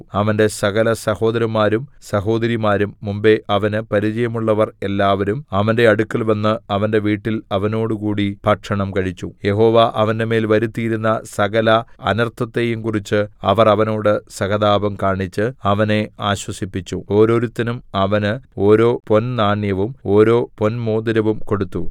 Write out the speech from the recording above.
അവന്റെ സകലസഹോദരന്മാരും സഹോദരിമാരും മുമ്പെ അവന് പരിചയമുള്ളവർ എല്ലാവരും അവന്റെ അടുക്കൽവന്ന് അവന്റെ വീട്ടിൽ അവനോടുകൂടി ഭക്ഷണം കഴിച്ചു യഹോവ അവന്റെമേൽ വരുത്തിയിരുന്ന സകല അനർത്ഥത്തെയും കുറിച്ച് അവർ അവനോട് സഹതാപം കാണിച്ച് അവനെ ആശ്വസിപ്പിച്ചു ഓരോരുത്തനും അവന് ഓരോ പൊൻനാണ്യവും ഓരോ പൊൻമോതിരവും കൊടുത്തു